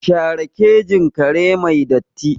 Share kejin kare mai datti!